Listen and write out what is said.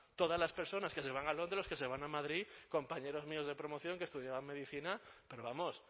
todas las personas que se van a londres los que se van a madrid compañeros míos de promoción que estudiaban medicina pero vamos